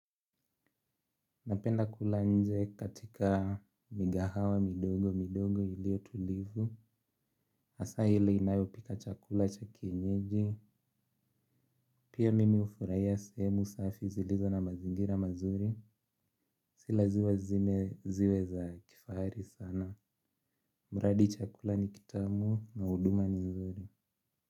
Napenda kula nje katika migahawa midogo midogo ilio tulivu hasaa ile inayopika chakula cha kienyeji. Pia mimi ufuraiya seemu safi zilizo na mazingira mazuri. Silazima zime ziwe za kifaari sana muradi chakula ni kitamu na uduma ni nzuri.